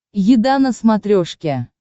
еда на смотрешке